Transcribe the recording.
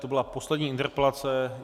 To byla poslední interpelace.